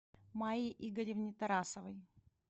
майе игоревне тарасовой